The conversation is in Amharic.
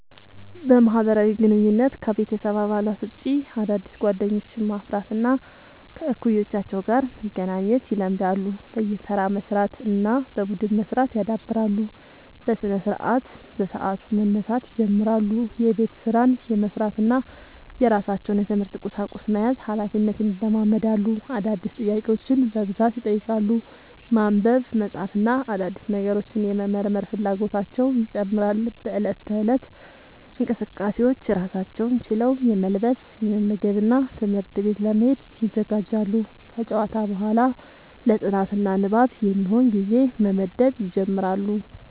በማህበራዊ ግንኙነት: ከቤተሰብ አባላት ውጭ አዳዲስ ጓደኞችን ማፍራት እና ከእኩዮቻቸው ጋር መገናኘት ይለምዳሉ። በየተራ መስራት እና በቡድን መስራት ያዳብራሉ። በስነስርዓት : በሰዓቱ መነሳት ይጀምራሉ። የቤት ስራን የመስራት እና የራሳቸውን የትምህርት ቁሳቁስ መያዝ ሀላፊነትን ይለማመዳሉ። አዳዲስ ጥያቄዎችን በብዛት ይጠይቃሉ። ማንበብ፣ መጻፍ እና አዳዲስ ነገሮችን የመመርመር ፍላጎታቸው ይጨምራል።. በእለት ተእለት እንቅስቃሴዎች: ራሳቸውን ችለው የመልበስ፣ የመመገብ እና ትምህርት ቤት ለመሄድ ይዘጋጃሉ። ከጨዋታ በኋላ ለ ጥናት እና ንባብ የሚሆን ጊዜ መመደብ ይጀምራሉ።